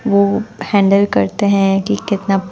वो हैंडल करते है कि कितना--